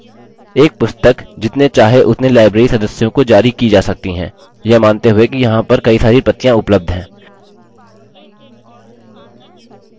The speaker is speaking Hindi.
एक पुस्तक जितने चाहे उतने library सदस्यों को जारी की जा सकती है यह मानते हुए कि यहाँ पर कई सारी प्रतियाँ उपलब्ध हैं